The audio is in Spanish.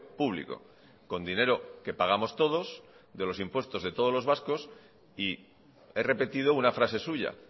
público con dinero que pagamos todos de los impuestos de todos los vascos y he repetido una frase suya